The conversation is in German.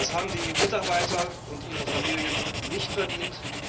Das haben die Mitarbeiter und ihre Familien nicht